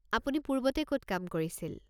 আপুনি পূৰ্বতে কত কাম কৰিছিল?